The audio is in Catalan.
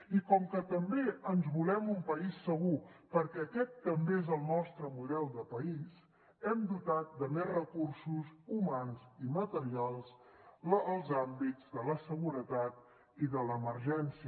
i com que també ens volem un país segur perquè aquest també és el nostre model de país hem dotat de més recursos humans i materials els àmbits de la seguretat i de l’emergència